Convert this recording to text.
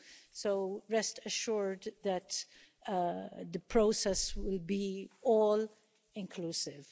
So rest assured that the process will be all inclusive.